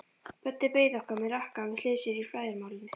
Böddi beið okkar með rakkann við hlið sér í flæðarmálinu.